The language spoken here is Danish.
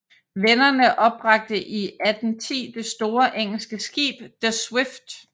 Vennerne opbragte i 1810 det store engelske skib The Swift